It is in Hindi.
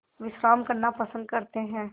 विश्राम करना पसंद करते हैं